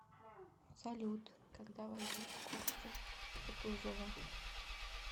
салют когда возник орден кутузова